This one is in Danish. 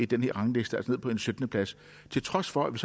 den her rangliste altså ned på en syttende plads til trods for at vi